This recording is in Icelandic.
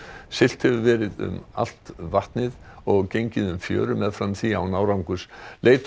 siglt hefur verið um allt vatnið og gengið um fjörur meðfram því án árangurs leit